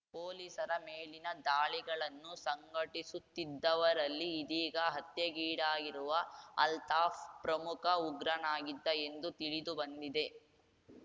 ಪೊಲೀಸರ ಮೇಲಿನ ದಾಳಿಗಳನ್ನು ಸಂಘಟಿಸುತ್ತಿದ್ದವರಲ್ಲಿ ಇದೀಗ ಹತ್ಯೆಗೀಡಾಗಿರುವ ಅಲ್ತಾಫ್‌ ಪ್ರಮುಖ ಉಗ್ರನಾಗಿದ್ದ ಎಂದು ತಿಳಿದುಬಂದಿದೆ